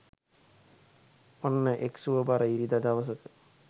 ඔන්න එක් සුව බර ඉරිදා දවසක